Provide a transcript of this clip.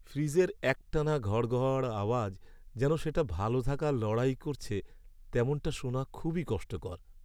ফ্রিজের একটানা ঘড়ঘড় আওয়াজ, যেন সেটা ভালো থাকার লড়াই করছে, তেমনটা শোনা খুবই কষ্টকর।